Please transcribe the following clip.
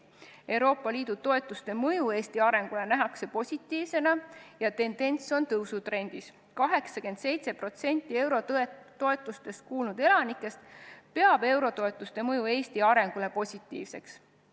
Euroopa Liidu toetuste mõju Eesti arengule nähakse positiivsena ja tendents on tõusutrendis: 87% eurotoetustest kuulnud elanikest peab eurotoetuste mõju Eesti arengule positiivseks.